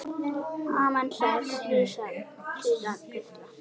Amen, sagði síra Gísli.